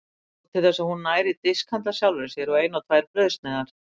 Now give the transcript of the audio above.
Nóg til þess að hún nær í disk handa sjálfri sér og eina tvær brauðsneiðar.